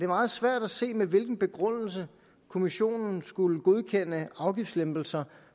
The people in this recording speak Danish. meget svært at se med hvilken begrundelse kommissionen skulle godkende afgiftslempelser